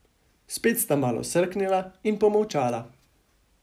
Spet sta malo srknila in pomolčala.